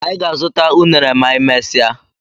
Anyị ga- azụta unere ma anyị mmesia